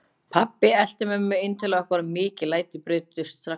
Pabbi elti mömmu inn til okkar og mikil læti brutust strax út.